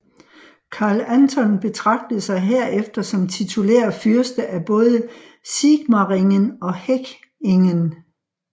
Karl Anton betragtede sig herefter som titulær fyrste af både Sigmaringen og Hechingen